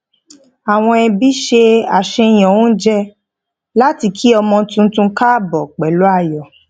àwọn ẹbí se àṣàyàn oúnjẹ láti kí ọmọ tuntun káàbọ pẹlú ayọ